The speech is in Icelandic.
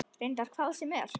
Reyndar hvar sem er.